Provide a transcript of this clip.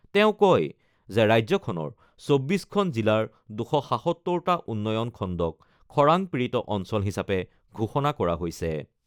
তেওঁ কয় যে ৰাজ্যখনৰ ২৪খন জিলাৰ ২৭৭টা উন্নয়ন খণ্ডক খৰাং পীড়িত অঞ্চল হিচাপে ঘোষণা কৰা হৈছে।